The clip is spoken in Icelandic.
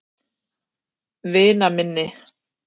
Vinaminni